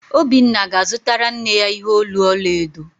Obinna ga-azụtara nne ya ihe olu ọla edo